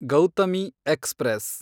Gautami express